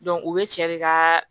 u bɛ cɛ de kaaa